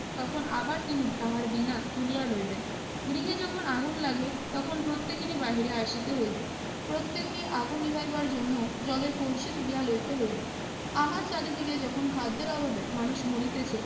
তখন আবার তিনি তাহার বীণা তুলিয়া লইবেন। গৃহে যখন আগুন লাগে তখন প্রত্যেকেরই বাহিরে আসিতে হইবে। প্রত্যেকে আগুন নিভাইবার জন্য জলের কলসি তুলিয়া লইতে হইবে। আমার চারিদিকে যখন খাদ্যের অভাবে মানুষ মরিতেছে